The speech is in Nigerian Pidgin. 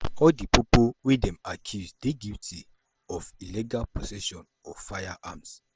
all di pipo wey dem accuse dey guilty of illegal possession of firearms.